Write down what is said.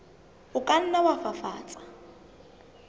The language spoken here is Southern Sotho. o ka nna wa fafatsa